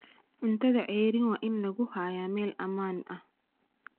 Cuntada ceeriin waa in lagu hayaa meel ammaan ah.